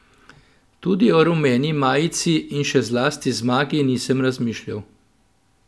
Tudi o rumeni majici in še zlasti zmagi nisem razmišljal.